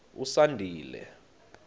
usandile